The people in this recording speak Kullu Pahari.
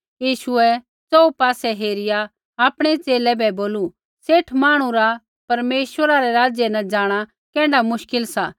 यीशुऐ च़ोहू पासै हेरिया आपणै च़ेले बै बोलू सेठ मांहणु रा परमेश्वरा रै राज्य न जाँणा कैण्ढा मुश्किल सा